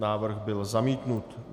Návrh byl zamítnut.